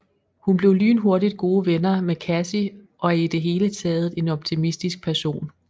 Hun bliver lynhurtigt gode venner med Cassie og er i det hele taget en optimistisk person